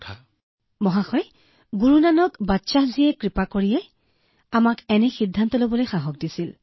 মহোদয় এয়াও সম্ভৱতঃ গুৰু নানক বাদশ্বাহজীৰ এজন বকছিছ আছিল যিয়ে আমাক এনে সিদ্ধান্ত লবলৈ সাহস দিছিল